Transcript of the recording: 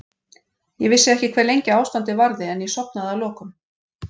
Ég vissi ekki hve lengi ástandið varði en ég sofnaði að lokum.